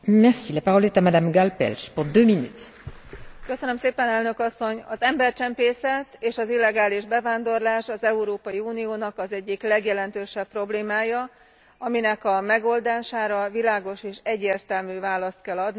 Az embercsempészet és az illegális bevándorlás az Európai Uniónak az egyik legjelentősebb problémája, aminek a megoldására világos és egyértelmű választ kell adni, és meg kell fogalmazni azt a feladatsort, amit most már végre kell hajtanunk.